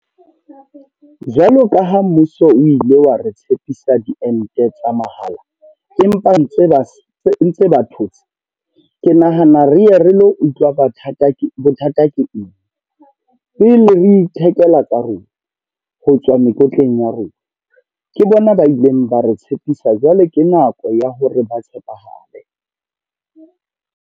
Jwalo ka ha mmuso o ile wa re tshepisa diente tsa mahala. Empa ntse ba ntse ba thotse. Ke nahana re ye re lo utlwa bathata, bothata ke eng. Pele re ithekela tsa rona ho tswa mekotleng ya rona. Ke bona ba ileng ba re tshepisa, jwale ke nako ya hore ba tshepahale.